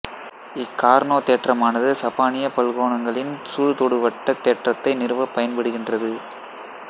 இக் கார்னோ தேற்றமானது சப்பானிய பல்கோணங்களின் சூழ்தொடுவட்டத் தேற்றத்தை நிறுவப் பயன்படுகின்றது